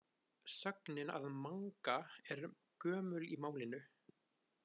Sögnin að manga er gömul í málinu.